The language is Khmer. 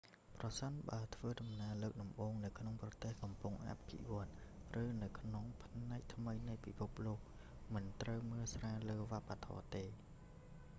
ប្រសិនបើធ្វើដំណើរលើកដំបូងនៅក្នុងប្រទេសកំពុងអភិវឌ្ឍន៍ ឬនៅក្នុងផ្នែកថ្មីនៃពិភពលោក មិនត្រូវមើលស្រាលលើវប្បធម៌ទេ